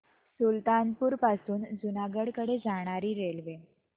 सुल्तानपुर पासून जुनागढ कडे जाणारी रेल्वे